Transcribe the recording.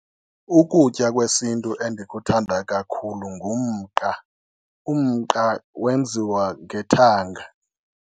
Ukutya kwesintu endikuthanda kakhulu ngumqa. Umqa wenziwa ngethanga.